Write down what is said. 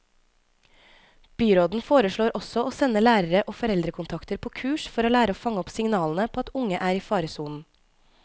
Byråden foreslår også å sende lærere og foreldrekontakter på kurs for å lære å fange opp signalene på at unge er i faresonen.